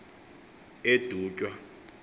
edutywa